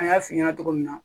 An y'a f'i ɲɛna cogo min na